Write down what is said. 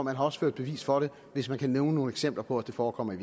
har ført bevis for det hvis man kan nævne nogle eksempler på at det forekommer i